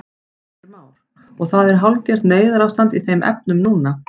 Heimir Már: Og það er hálfgert neyðarástand í þeim efnum núna?